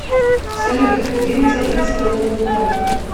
салют где мне забрать свою новую карту